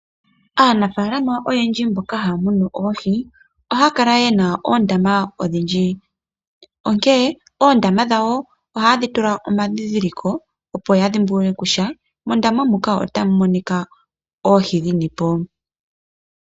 Aanafaalama oyendji mboka haya munu oohi, ohaya kala ye na oondaama odhindji, onkene oondama dhawo ohaye dhi tula omadhindhiliko opo ya dhimbulule kutya mondama muka otamu monika oohi dhini po.